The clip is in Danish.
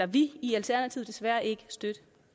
vi i alternativet desværre ikke støtte